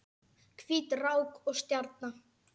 Hvít rák og stjarna